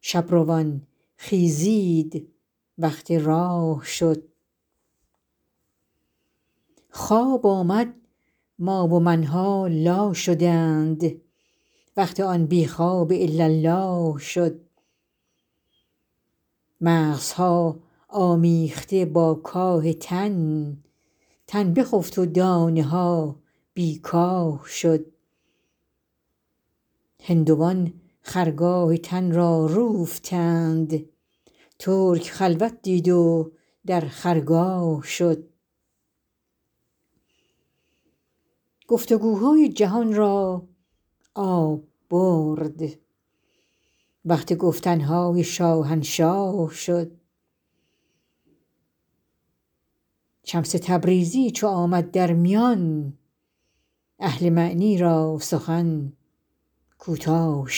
شب روان خیزید وقت راه شد خواب آمد ما و من ها لا شدند وقت آن بی خواب الاالله شد مغزها آمیخته با کاه تن تن بخفت و دانه ها بی کاه شد هندوان خرگاه تن را روفتند ترک خلوت دید و در خرگاه شد گفت و گوهای جهان را آب برد وقت گفتن های شاهنشاه شد شمس تبریزی چو آمد در میان اهل معنی را سخن کوتاه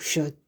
شد